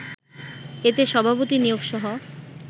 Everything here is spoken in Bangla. এতে সভাপতি নিয়োগসহ